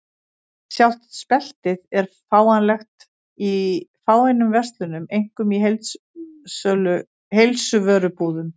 Sjálft speltið er fáanlegt í fáeinum verslunum, einkum í heilsuvörubúðum.